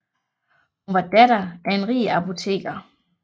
Hun var datter af en rig apoteker